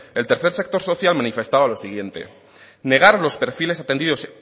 el tercer sector social manifestaba lo siguiente negar los perfiles atendidos